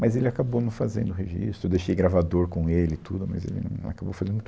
Mas ele acabou não fazendo o registro, eu deixei gravador com ele e tudo, mas ele não acabou fazendo muito